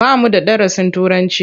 Ba mu da darasin Turanci.